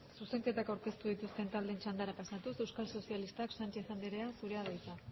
zuzenketak aurkeztu dituzten taldeen txandara pasatuz euskal sozialistak sánchez andrea zurea da hitza